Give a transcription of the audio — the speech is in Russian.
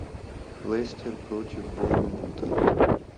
лестер против борнмута